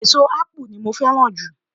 eso ápù ni mo fẹràn ju